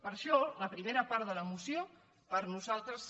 per això a la primera part de la moció per nosaltres